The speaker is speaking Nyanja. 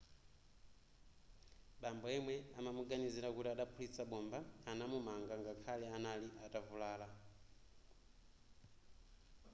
bambo yemwe amamuganizira kuti adaphulitsa bomba anamumanga ngakhale anali atavulala